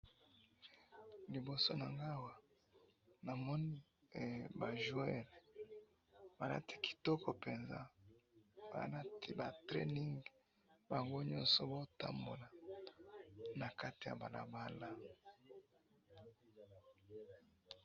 liboso na ngai awa, namoni ba joeurs, ba lati kitoko penza, baza na training, bango nyoso bazo tambola na kati ya balabala